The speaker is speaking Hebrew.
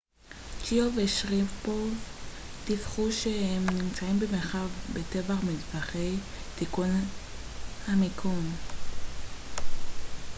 צ'יאו ושריפוב דיווחו שהם נמצאים במרחק בטוח ממדחפי תיקון המיקום